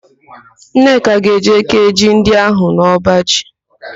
Nneka ga-eje kéé ji ndị ahụ n'ọbaji.